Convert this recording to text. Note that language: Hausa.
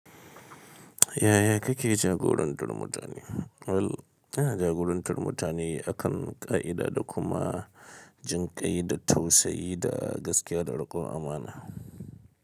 Yaya kake jagorantar mutane? Well, ina jagorantar mutane akan ƙa'ida da kuma jinƙai da tausayi da gaskiya da riƙon amana.